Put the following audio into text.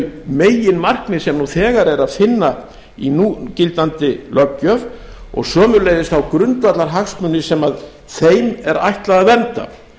þau meginmarkmið sem nú þegar er að finna í núgildandi löggjöf og sömuleiðis þá grundvallarhagsmuni sem þeim er ætlað að vernda